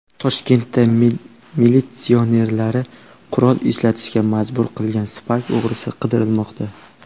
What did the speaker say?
Toshkentda militsionerlarni qurol ishlatishga majbur qilgan Spark o‘g‘risi qidirilmoqda .